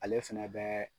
Ale fɛnɛ bɛ